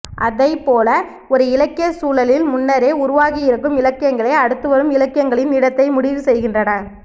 அதைப்போல ஒரு இலக்கியச் சூழலில் முன்னரே உருவாகியிருக்கும் இலக்கியங்களே அடுத்துவரும் இலக்கியங்களின் இடத்தை முடிவுசெய்கின்றன